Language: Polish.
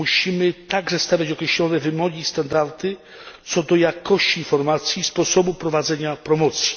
Musimy także stawiać określone wymogi i standardy co do jakości informacji i sposobu prowadzenia promocji.